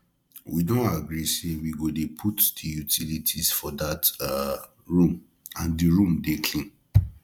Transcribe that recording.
we don agree say we go dey put the utilities for dat um room and the room dey clean